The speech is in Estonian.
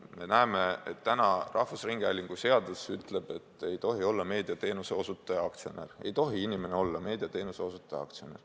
Me näeme, et rahvusringhäälingu seadus ütleb, et nõukogu liige ei tohi olla meediateenuse osutaja aktsionär.